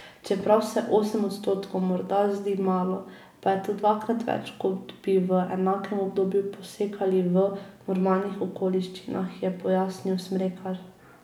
Čeprav se osem odstotkov morda zdi malo, pa je to dvakrat več, kot bi v enakem obdobju posekali v normalnih okoliščinah, je pojasnil Smrekar.